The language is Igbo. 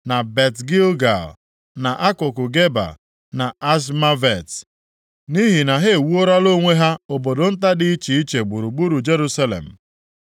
na Bet-Gilgal, na akụkụ Geba na Azmavet, nʼihi na ha ewuorola onwe ha obodo nta dị iche iche gburugburu Jerusalem.